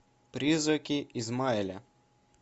призраки исмаэля